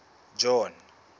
john